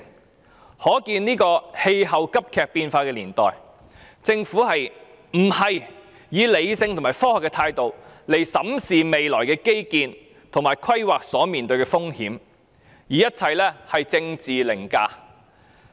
由此可見，在氣候急劇變化的年代，政府不是以理性及科學的態度審視未來基建及規劃所面對的風險，而是以政治凌駕一切。